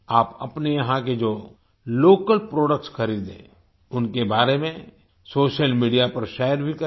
आप अपने यहाँ के जो लोकल प्रोडक्ट्स खरीदें उनके बारे में सोशल मीडिया पर शेयर भी करें